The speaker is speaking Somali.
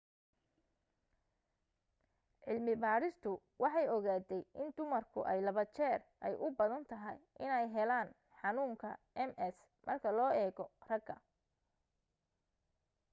cilmi badhistu waxay ogaatay in dumarku ay laba jeer ay u badan tahay iney heelan xanuunka ms marka loo eego ragga